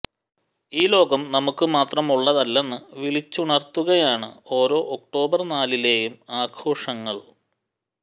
ഈ ലോകം നമുക്ക് മാത്രമുള്ളതല്ലെന്ന് വിളിച്ചുണർത്തുകയാണ് ഓരോ ഒക്ടോബർ നാലിലെയും ആഘോഷങ്ങൾ